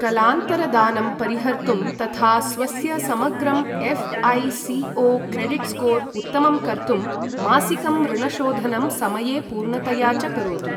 कलान्तरदानं परिहर्तुं तथा स्वस्य समग्रं एऴ्.ऐ.सि.ओ.क्रेडिट् स्कोर् उत्तमं कर्तुं मासिकं ऋणशोधनं समये पूर्णतया च करोतु।